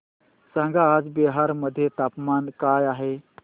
सांगा आज बिहार मध्ये तापमान काय आहे